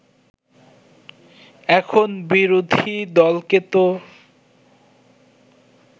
এখন বিরোধী দলকে তো